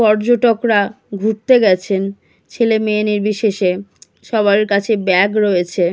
পর্যটকরা ঘুরতে গেছেন ছেলে মেয়ে নির্বিশেষে সবার কাছে ব্যাগ রয়েছে।